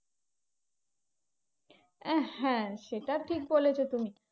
আহ হ্যাঁ সেইটা ঠিক বলেছো তুমি।